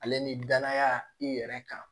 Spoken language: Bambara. Ale ni danaya i yɛrɛ kan